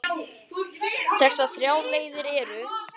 Þessar þrjár leiðir eru